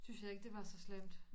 Synes jeg ikke det var så slemt